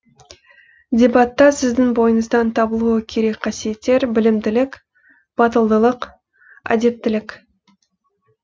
дебатта сіздің бойыңыздан табылуы керек қасиеттер білімділік батылдылық әдептілік